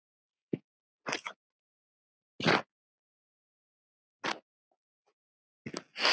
Hvernig svarar þú þeim?